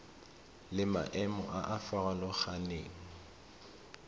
le maemo a a farologaneng